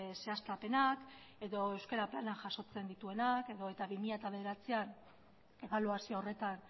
zehaztapenak edo euskara planak jasotzen dituenak edota bi mila bederatzian ebaluazio horretan